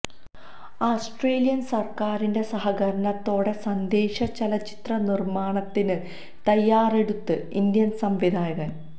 Australian സര്ക്കാരിന്റെ സഹകരണത്തോടെ സന്ദേശ ചലച്ചിത്ര നിര്മാണത്തിന് തയ്യാറെടുത്ത് ഇന്ത്യന് സംവിധായകന്